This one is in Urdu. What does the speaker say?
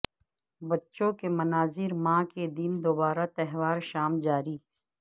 بچوں کے مناظر ماں کے دن دوبارہ تہوار شام جاری